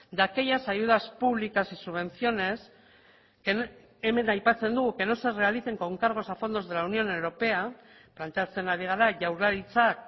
de aquellas ayudas públicas y subvenciones hemen aipatzen du que no se realicen con cargos a fondos de la unión europea planteatzen ari gara jaurlaritzak